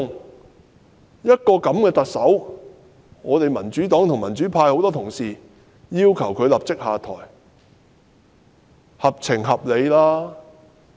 對於這樣的一個特首，民主黨及民主派多位議員均要求她立即下台，這是合情合理的。